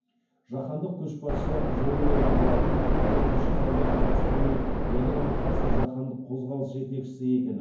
жаһандық көшбасшы жолы деп аталатын төртінші залда қазақстанның ядроға қарсы жаһандық қозғалыс жетекшісі екен